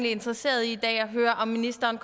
interesseret i at høre om ministeren